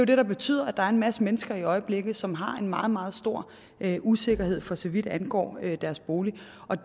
det der betyder at der er en masse mennesker i øjeblikket som har en meget meget stor usikkerhed for så vidt angår deres bolig